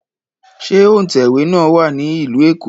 Ṣé òǹtẹ̀wé náà wà ní Ìlú Èkó?